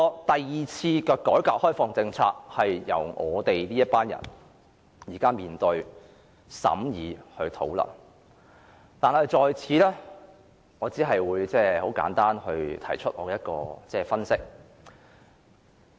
第二次改革開放政策由我們這一代人來面對、審議和討論，但我在此只會簡單提出我的分析。